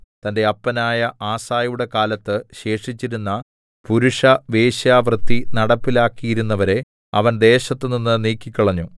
തന്റെ അപ്പനായ ആസയുടെ കാലത്ത് ശേഷിച്ചിരുന്ന പുരുഷവേശ്യാവൃത്തി നടപ്പിലാക്കിയിരുന്നവരെ അവൻ ദേശത്ത് നിന്ന് നീക്കിക്കളഞ്ഞു